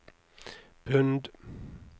pund